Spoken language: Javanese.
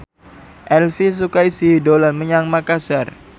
Elvi Sukaesih dolan menyang Makasar